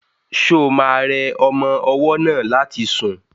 Ṣo ma rẹ ọmọ ọwọ́ náà láti sùn?